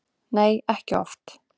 Nei, ekki oft.